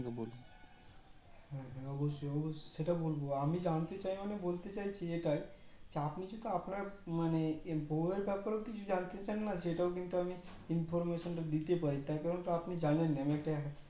হ্যাঁ অবশ্যয় সেটা বলবো আমি জানতে চাই মানে বলতে চাইছি এটাই যে আপনি যদি আপনার মানে বৌ এর ব্যাপারে কিছু জানতে চান না সেটাও কিন্তু আমি information তা দিতে পারি তার কারণ আপনি তো জানেন আমি একটা